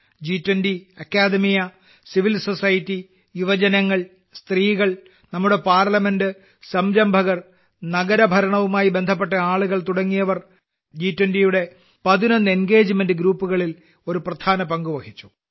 ജി20 അക്കാദമിക civil society യുവജനങ്ങൾ സ്ത്രീകൾ നമ്മുടെ പാർലമെന്റെ് സംരംഭകർ നഗരഭരണവുമായി ബന്ധപ്പെട്ട ആളുകൾ തുടങ്ങിയവർ ജു20യുടെ പതിനൊന്ന് എൻഗേജ്മെന്റെ് ഗ്രൂപ്പുകളിൽ ഒരു പ്രധാന പങ്ക് വഹിച്ചു